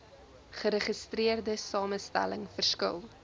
geregistreerde samestelling verskil